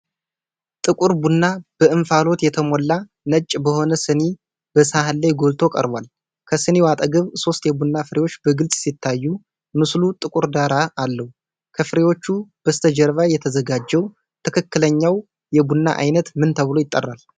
የጥቁር ቡና በእንፋሎት የተሞላ፣ ነጭ በሆነ ስኒና በሳህን ላይ ጎልቶ ቀርቧል። ከስኒው አጠገብ ሶስት የቡና ፍሬዎች በግልጽ ሲታዩ፣ ምስሉ ጥቁር ዳራ አለው። ከፍሬዎቹ በስተጀርባ የተዘጋጀው ትክክለኛው የቡና ዓይነት ምን ተብሎ ይጠራል?